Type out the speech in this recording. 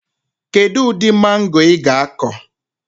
Kedụ ụdị mango ị ga akọ?